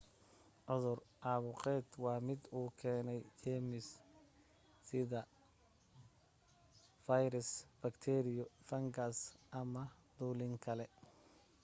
cudur caabuqeed waa mid uu keenay jeermis-side sida fayras bakteeriyo fangas ama dulin kale